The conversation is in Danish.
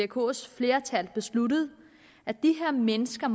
vkos flertal besluttede at de her mennesker